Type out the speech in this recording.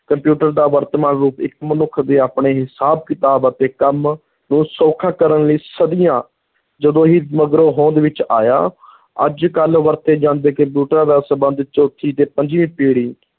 computer ਦਾ ਵਰਤਮਾਨ ਰੂਪ ਇੱਕ ਮਨੁੱਖ ਦੇ ਆਪਣੇ ਹਿਸਾਬ-ਕਿਤਾਬ ਅਤੇ ਕੰਮ ਨੂੰ ਸੌਖਾ ਕਰਨ ਲਈ ਸਦੀਆਂ ਜੱਦੋਂ ਹੀ ਮਗਰੋਂ ਹੋਂਦ ਵਿੱਚ ਆਇਆ ਅੱਜ-ਕਲ ਵਰਤੇ ਜਾਂਦੇ ਕੰਪਿਊਟਰਾਂ ਦਾ ਸੰਬੰਧ ਚੌਥੀ ਤੇ ਪੰਜਵੀਂ ਪੀੜ੍ਹੀ